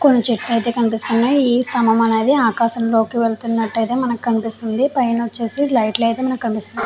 కొన్ని చెట్లు అయితే అయితే. ఈ సంబల్లు అయితే ఆకాశం లోకి వేల్లుతునాటు మనకి కనిపిస్తుంది. పైన ఒచేసి మనకి లైట్ లు అయితే అయితే.